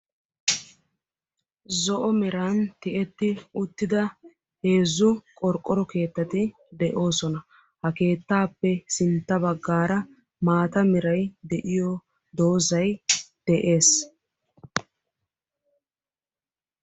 zo'o meran tiyyeti uttida heezzu qorqqoro keettati de'oosona; ha keettappe sintta baggara maaata meray de'iyoo doozay de'ees.